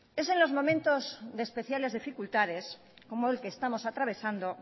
es en los momentos de especiales dificultades como el que estamos atravesando